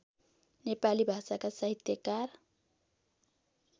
नेपाली भाषाका साहित्यकार